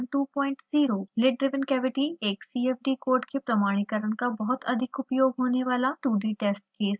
lid driven cavity एक cfd code के प्रमाणीकरण का बहुत अधिक उपयोग होने वाला 2d टेस्ट केस है